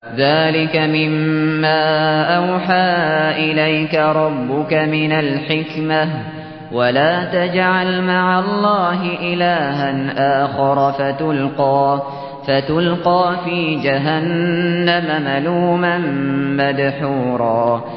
ذَٰلِكَ مِمَّا أَوْحَىٰ إِلَيْكَ رَبُّكَ مِنَ الْحِكْمَةِ ۗ وَلَا تَجْعَلْ مَعَ اللَّهِ إِلَٰهًا آخَرَ فَتُلْقَىٰ فِي جَهَنَّمَ مَلُومًا مَّدْحُورًا